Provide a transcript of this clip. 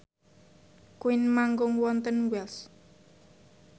Queen manggung wonten Wells